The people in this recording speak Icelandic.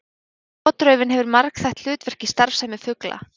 Gotraufin hefur margþætt hlutverk í starfsemi fugla.